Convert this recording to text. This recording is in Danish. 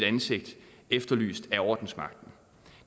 ansigtet efterlyst af ordensmagten